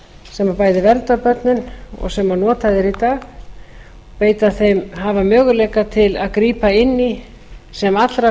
sem bæði verndar börnin og sem notað er í dag hafa möguleika til að grípa inn í sem allra fyrst